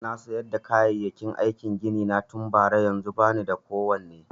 Na siyar da kayayyaki aikin gini na tun bara, yanzun ba ni da kowane.